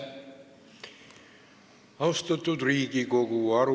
Austatud Riigikogu!